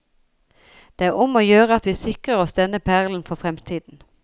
Det er om å gjøre at vi sikrer oss denne perlen for fremtiden.